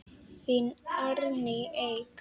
Þín Árný Eik.